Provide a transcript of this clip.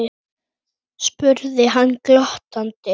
spurði hann glottandi.